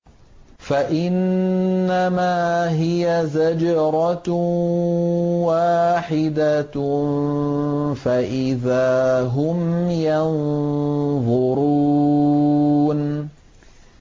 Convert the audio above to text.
فَإِنَّمَا هِيَ زَجْرَةٌ وَاحِدَةٌ فَإِذَا هُمْ يَنظُرُونَ